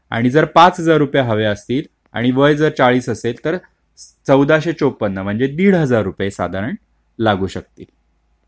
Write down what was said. आणि जर पाच हजार रुपये हवे असतील आणि वय जर चाळीस असेल तर चौदाशे चौपन्न म्हणजे दिड हजार रुपये साधारण लागू शकते.